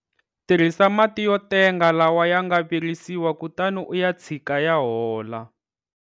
Tirhisa mati yo tenga lawa ya nga virisiwa kutani u ya tshika ya hola.